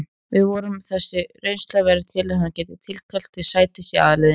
Við vonum að þessi reynsla verði til að hann geri tilkall til sætis í aðalliðinu.